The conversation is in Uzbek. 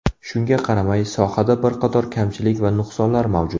Shunga qaramay, sohada bir qator kamchilik va nuqsonlar mavjud.